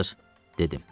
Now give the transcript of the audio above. Yazır, dedim.